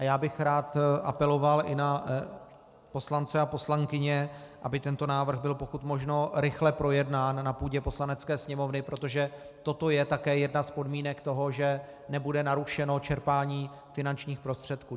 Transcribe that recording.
A já bych rád apeloval i na poslance a poslankyně, aby tento návrh byl pokud možno rychle projednán na půdě Poslanecké sněmovny, protože toto je také jedna z podmínek toho, že nebude narušeno čerpání finančních prostředků.